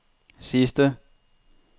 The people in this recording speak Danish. sidste